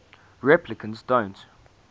replicants don't